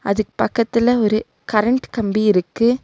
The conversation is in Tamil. அதுக் பக்கத்துல ஒரு கரண்ட் கம்பி இருக்கு.